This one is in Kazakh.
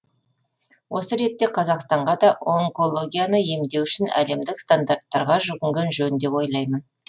осы ретте қазақстанға да онкологияны емдеу үшін әлемдік стандарттарға жүгінген жөн деп ойлаймын